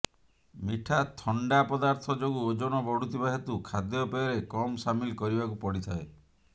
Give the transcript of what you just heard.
ମିଠା ଥଣ୍ଡା ପଦାର୍ଥ ଯୋଗୁ ଓଜନ ବଢ଼ୁଥିବା ହେତୁ ଖାଦ୍ୟପେୟରେ କମ୍ ସାମିଲ କରିବାକୁ ପଡ଼ିଥାଏ